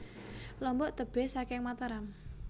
Lombok tebih saking Mataram